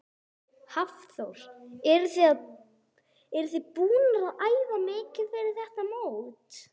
Hafþór: Eruð þið búnar að æfa mikið fyrir þetta mót?